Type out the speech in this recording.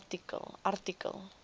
artikel